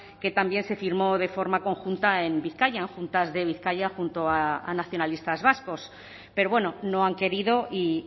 que también se firmó de forma conjunta en bizkaia en juntas de bizkaia junto a nacionalistas vascos pero bueno no han querido y